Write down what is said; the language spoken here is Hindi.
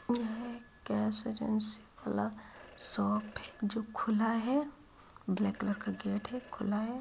यह एक गैस एजेंसी खुला वाला शॉप है जो खुला है ब्लाक कलर का गेट है खुला है।